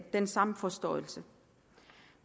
den samme forståelse